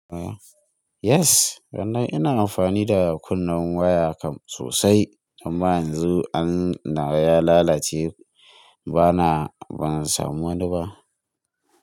Yes, wannan ina amfani da kunnen waya kam sosai, amma yanzu an nawa ya lalace bana, ban samu wani ba.